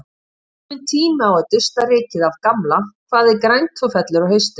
Kominn tími á að dusta rykið af gamla Hvað er grænt og fellur á haustin?